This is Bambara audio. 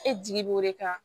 E jigi b'o de kan